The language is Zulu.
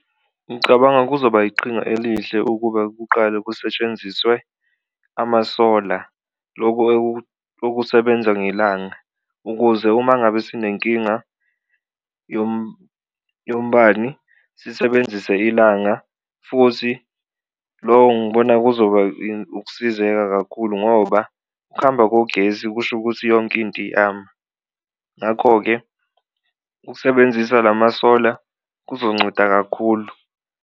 Ngicabanga kuzoba iqhinga elihle ukuba kuqale kusetshenziswe amasola loku okusebenza ngelanga ukuze uma ngabe sinenkinga yombani sisebenzise ilanga, futhi lo ngibona kuzoba ukusizeka kakhulu ngoba ukuhamba kogesi kusho ukuthi yonke into . Ngakho-ke, ukusebenzisa la masola kuzokunceda kakhulu.